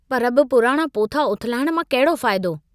पर बि पुराणा पोथा उथलाइण मां कहिड़ो फ़ाइदो।